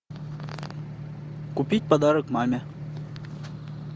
купить подарок маме